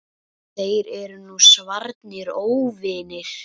Þeir eru nú svarnir óvinir.